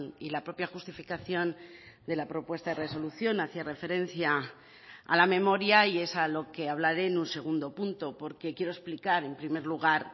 y la propia justificación de la propuesta de resolución hacía referencia a la memoria y es a lo que hablaré en un segundo punto porque quiero explicar en primer lugar